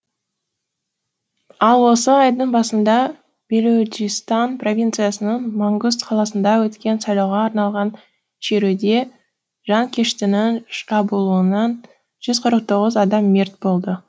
ал осы айдың басында белуджистан провинциясының мангуст қаласында өткен сайлауға арналған шеруде жанкештінің шабуылынан жүз қырық тоғыз адам мерт болды